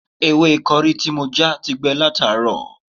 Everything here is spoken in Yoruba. Ewé kọrí tí mo já ti gbẹ látàárọ̀